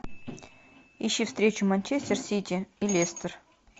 ищи встречу манчестер сити и лестер